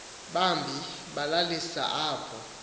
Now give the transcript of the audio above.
bambi balalisa apho